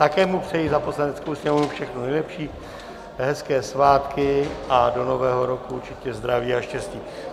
Také mu přeji za Poslaneckou sněmovnu všechno nejlepší, hezké svátky a do nového roku určitě zdraví a štěstí.